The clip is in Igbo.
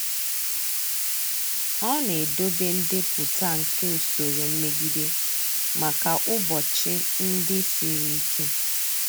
Ọ na-edobe ndepụta nke usoro mmegide maka ụbọchị ndị siri ike.